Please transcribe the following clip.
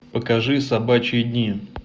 покажи собачьи дни